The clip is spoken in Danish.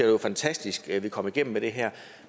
var fantastisk at vi kom igennem med det her